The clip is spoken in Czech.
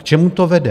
K čemu to vede?